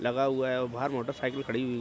लगा हुआ है औ बाहर मोटरसाइकिल खड़ी हुई --